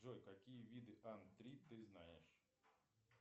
джой какие виды ан три ты знаешь